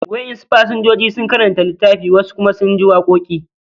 Wa'en su pasenjoji sun karanta litaffi, wasu kuma sun ji waƙoki